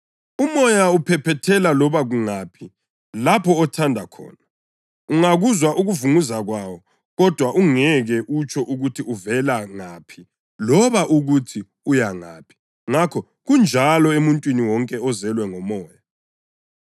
Umoya uphephethela loba kungaphi lapho othanda khona. Ungakuzwa ukuvunguza kwawo, kodwa ungeke utsho ukuthi uvela ngaphi loba ukuthi uya ngaphi. Ngakho kunjalo emuntwini wonke ozelwe ngoMoya.”